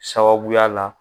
Sababuya la